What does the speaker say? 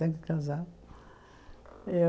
Tem que casar.